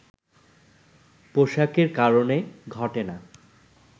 পোশাকের কারণে ঘটে না